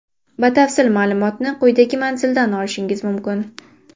Batafsil ma’lumotni quyidagi manzildan olishingiz mumkin.